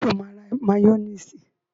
Sọ ma ra máyónísì?